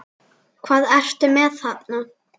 Hvað ertu með þarna?